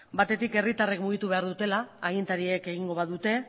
batetik herrritarrek mugitu behar dutela agintariek egingo badute